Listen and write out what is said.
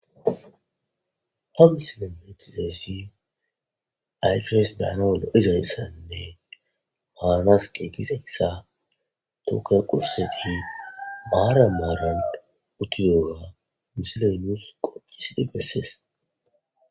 Hame silomeetzeessi aytires daana wolo izayssanne maanasqe gise gissa tooke qurseti maara maarand uttiyooga misilenus qopphisidi gessees.